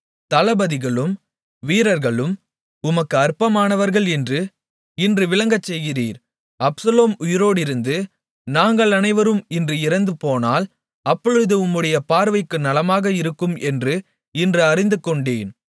தளபதிகளும் வீரர்களும் உமக்கு அற்பமானவர்கள் என்று இன்று விளங்கச்செய்கிறீர் அப்சலோம் உயிரோடிருந்து நாங்கள் அனைவரும் இன்று இறந்துபோனால் அப்பொழுது உம்முடைய பார்வைக்கு நலமாக இருக்கும் என்று இன்று அறிந்துகொண்டேன்